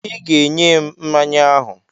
I ga-enye m mmanya ahụ!